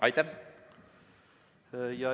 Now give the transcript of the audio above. Aitäh!